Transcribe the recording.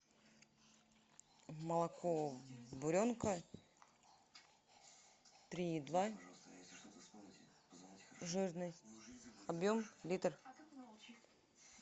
молоко буренка три и два жирность объем литр